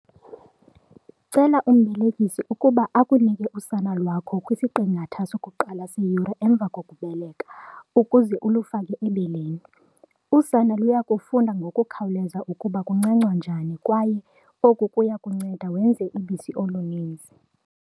Cela umbelekisi ukuba akunike usana lwakho kwisiqingatha sokuqala seyure emva kokubeleka, ukuze ulufake ebeleni. Usana luya kufunda ngokukhawuleza ukuba kuncancwa njani kwaye oku kuya kukunceda wenze ubisi oluninzi.